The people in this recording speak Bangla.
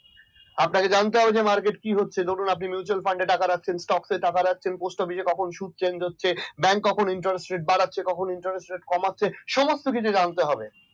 আপনাকে জানতে হবে যে market কি হচ্ছে ধরুন আপনি mutual fune টাকা রাখছেন টকসে টাকা রাখছেন post office শুধু change হচ্ছে bank কখন interest ret বাড়াচ্ছে কখনো বা interest rate কমাচ্ছে সমস্ত কিছু জানতে হবে।